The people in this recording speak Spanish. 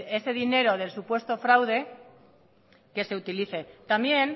ese dinero del presunto fraude que se utilice también